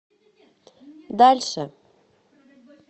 дальше